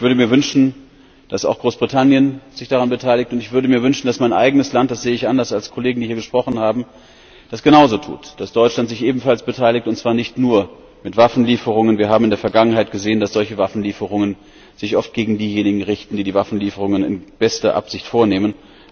Ich würde mir wünschen, dass sich auch Großbritannien daran beteiligt. Und ich würde mir wünschen, dass mein eigenes Land das sehe ich anders als Kollegen, die hier gesprochen haben das genauso tut, dass Deutschland sich ebenfalls beteiligt, und zwar nicht nur mit Waffenlieferungen. Wir haben in der Vergangenheit gesehen, dass solche Waffenlieferungen sich oft gegen diejenigen richten, die die Waffenlieferungen in bester Absicht vornehmen.